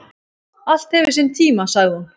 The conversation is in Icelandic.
"""Allt hefur sinn tíma, sagði hún."""